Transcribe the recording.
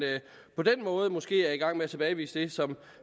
på den måde måske er i gang med at tilbagevise det som